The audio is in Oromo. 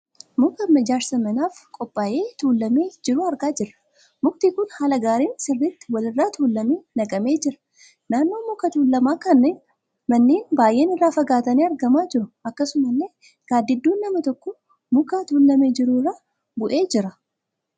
Muka ijaarsa manaaf qophaayee tuulamee jiru argaa jirra. Mukti kun haala gaariin sirriitti wal irra tuulamee naqamee jira. Naannoo muka tuulamaa kanaa manneen baay'een irraa fagaatanii argamaa jiru. Akkasumallee gaaddidduun nama tokkoo muka tuulamee jiru irra bu'ee jira.